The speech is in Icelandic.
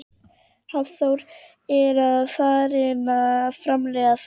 Hafþór: Er farið að framleiða þá?